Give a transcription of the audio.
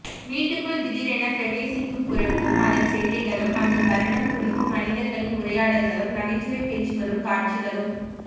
வீட்டுக்குள் திடீரெனப் பிரவேசிக்கும் குரங்கும் அதன் சேட்டைகளும் அந்தத் தருணம் குறித்து மனிதர்களின் உரையாடல்களும் நகைச்சுவை பேச்சுகளும் காட்சிகளும்